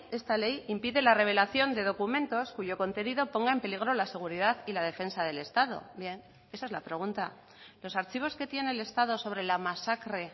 esta ley impide la revelación de documentos cuyo contenido ponga en peligro la seguridad y la defensa del estado bien esa es la pregunta los archivos que tiene el estado sobre la masacre